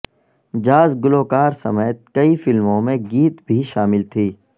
jazz گلوکار سمیت کئی فلموں میں گیت بھی شامل تھی